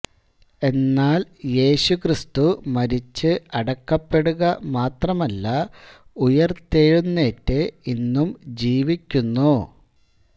എന്നാൽ യേശുക്രിസ്തു മരിച്ച് അടക്കപ്പെടുക മാത്രമല്ല ഉയിർത്തെഴുന്നേറ്റ് ഇന്നും ജീവിക്കുന്നു